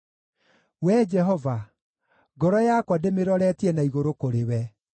Wee Jehova, ngoro yakwa ndĩmĩroretie na igũrũ kũrĩ we;